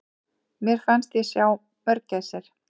Mér fannst ég sjá mörgæsir!